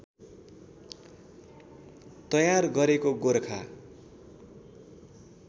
तयार गरेको गोरखा